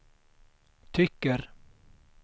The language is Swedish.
tycker